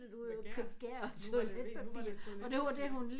Gær nu var det lige nu var det toiletpapir